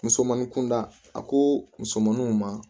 Musomanin kunda a ko musomaninw ma